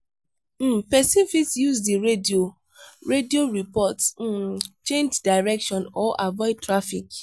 um person fit use di radio radio report um change direction or avoid traffic